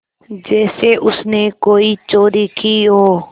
जैसे उसने कोई चोरी की हो